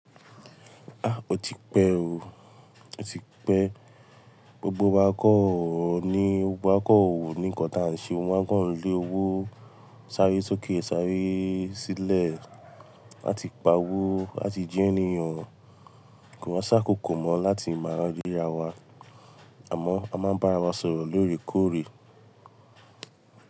Ó ti pẹ́ o, ó ti pẹ́. Gbogbo wa kọ́ ò ní, gbogbo wa kọ́ ò ní nǹkan tí a ń ṣe. Wọ́n máa ń kọ́ lé owó s'áré sókè s'áré sílẹ̀ láti pa owó láti jẹ́ ènìyàn. Kò wa sá kòkò mọ láti máa rírà wa, àmọ́ a máa ń bára wa sọ̀rọ̀ lóòrèkóòrè.